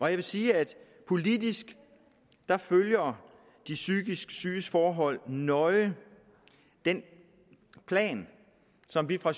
jeg vil sige at politisk følger de psykisk syges forhold nøje den plan som vi fra